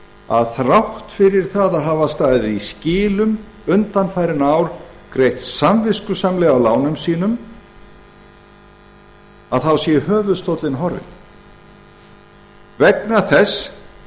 að þrátt fyrir að hafa staðið í skilum undanfarin ár greitt samviskusamlega af lánum sínum sé höfuðstóllinn horfinn vegna þess